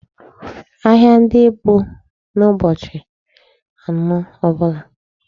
Ahịa ndị bụ n'ụbọchị anọ ọbụla.